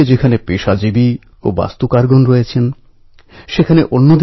গণেশ উৎসব জাতিধর্ম নির্বিশেষে জনসাধারণকে